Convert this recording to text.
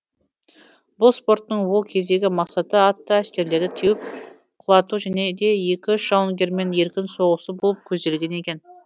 бұл спорттың ол кездегі мақсаты атты әскерлерді теуіп құлату және де екі үш жауынгермен еркін соғысу болып көзделген екен